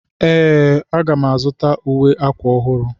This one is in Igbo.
Ee,a ga m azụta uwe akwa ọhụrụ.